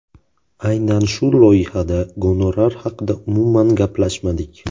Aynan shu loyihada gonorar haqida umuman gaplashmadik.